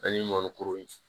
An ye mɔnikuru ye